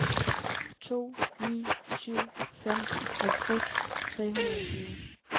to ni syv fem halvtreds tre hundrede og tyve